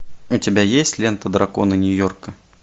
у тебя есть лента драконы нью йорка